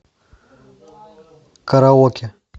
караоке